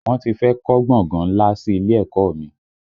Wọ́n ti fẹ́ kọ́ gbọ̀ngàn ńlá kan sí ilé ẹ̀kọ́ ọ mi